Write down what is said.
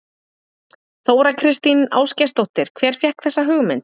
Þóra Kristín Ásgeirsdóttir: Hver fékk þessa hugmynd?